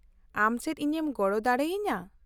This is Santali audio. -ᱟᱢ ᱪᱮᱫ ᱤᱧᱮᱢ ᱜᱚᱲᱚ ᱫᱟᱲᱮ ᱟᱹᱧᱟᱹ ?